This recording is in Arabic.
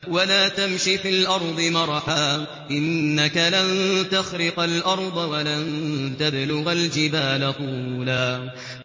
وَلَا تَمْشِ فِي الْأَرْضِ مَرَحًا ۖ إِنَّكَ لَن تَخْرِقَ الْأَرْضَ وَلَن تَبْلُغَ الْجِبَالَ طُولًا